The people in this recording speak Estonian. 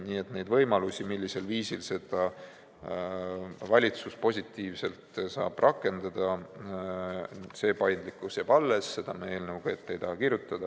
Nii et neid võimalusi, millisel viisil saab valitsus seda positiivselt rakendada, see paindlikkus jääb alles, seda me eelnõuga ette ei taha kirjutada.